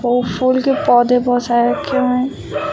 और फूलों के पौधे बहुत सारे रखे हुए हैं।